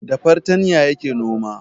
Da fartanya yake noma